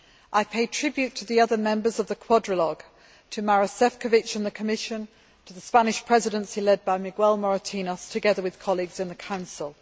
I pay tribute to the other members of the Quadrilogue Maroš Šefčovič and the Commission and the Spanish Presidency led by Miguel Moratinos, together with colleagues in the Council.